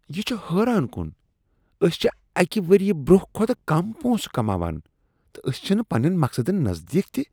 یہ چھ حٲران کُن! أسۍ چھ اکہ وریہہ برٛونٛہہ کھوتہٕ کم پونٛسہٕ کماوان، تہٕ أسۍ چھنہٕ پننؠن مقصدن نزدیٖک تہ۔